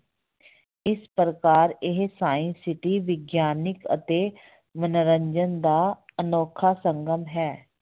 ਇਸ ਪ੍ਰਕਾਰ ਇਹ science city ਵਿਗਿਆਨਕ ਅਤੇ ਮਨੋਰੰਜਨ ਦਾ ਅਨੌਖਾ ਸੰਗਮ ਹੈ।